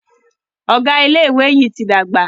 Ọgá ilé ìwé yí tí dàgbà.